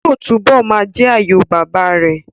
Yóò túbọ̀ ma jẹ́ àyò bàbá rẹ̀